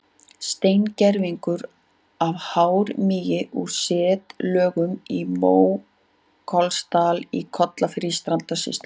Steingervingur af hármýi úr setlögum í Mókollsdal í Kollafirði í Strandasýslu.